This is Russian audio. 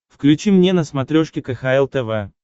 включи мне на смотрешке кхл тв